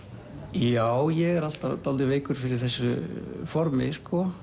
já ég er alltaf dálítið veikur fyrir þessu formi